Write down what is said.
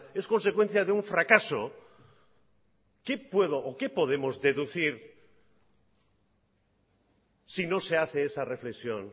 es consecuencia de un fracaso qué puedo o qué podemos deducir si no se hace esa reflexión